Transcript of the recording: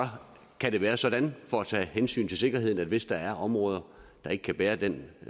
kan det være sådan for at tage hensyn til sikkerheden at hvis der er områder der ikke kan bære den